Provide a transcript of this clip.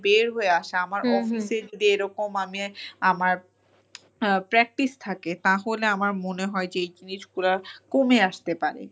বের হয়ে আসা আমার office এর যদি এরকম আমি আমার আহ practice থাকে তাহলে আমার মনে হয় যে এই জিনিসগুলা কমে আসতে পারে।